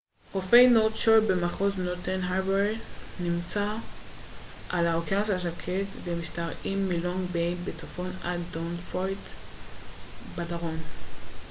חופי נורת' שור במחוז נורת' הארבור נמצאים על האוקיינוס השקט ומשתרעים מלונג ביי בצפון עד דבונפורט בדרום